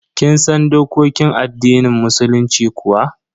Kin san dokokin addinin musulunci kuwa?